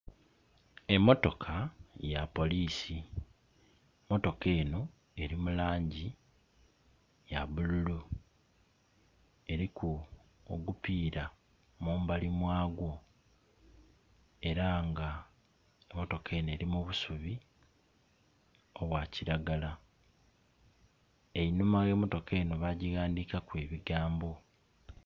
Emotoka ya polisi motoka eno eri mulangi ya bululu eriku ogupira mubali mwagwo era nga motoka eno eri mu busubi obwa kilagala. Einhuma ghe motoka eno bagighandikaku ebigambo.